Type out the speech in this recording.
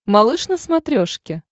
малыш на смотрешке